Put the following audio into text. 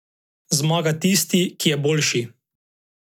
Zmaga tisti, ki je boljši.